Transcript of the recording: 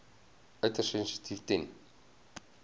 uiters sensitief ten